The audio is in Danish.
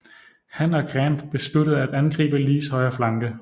Han og Grant besluttede at angribe Lees højre flanke